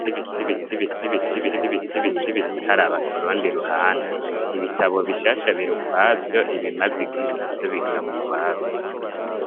Biti biti biti biti ii biti biti bitari abakoronda i ruhande ibitabo bishasha biri ukwavyo ibimaze igihe na vyo bikaba ukwavyo.